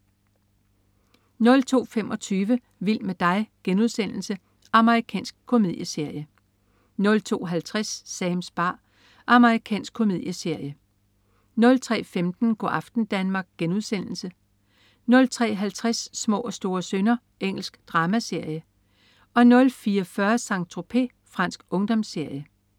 02.25 Vild med dig.* Amerikansk komedieserie 02.50 Sams bar. Amerikansk komedieserie 03.15 Go' aften Danmark* 03.50 Små og store synder. Engelsk dramaserie 04.40 Saint-Tropez. Fransk ungdomsserie